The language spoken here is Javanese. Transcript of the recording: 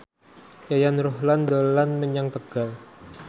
Yayan Ruhlan dolan menyang Tegal